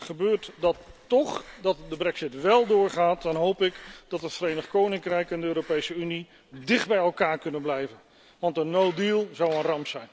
Gebeurt dat toch, dat de brexit wel doorgaat, dan hoop ik dat het Verenigd Koninkrijk en de Europese Unie dicht bij elkaar kunnen blijven, want een no deal zou een ramp zijn.